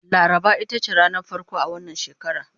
laraba itace ranar farko a wannan shekara